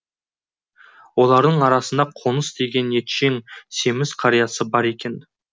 олардың арасында қоныс деген етшең семіз қариясы бар екен